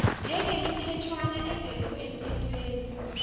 njengemithetjhwana engekho emthethweni